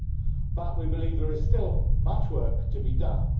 However, we believe there is still much work to be done.